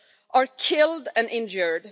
are killed and injured.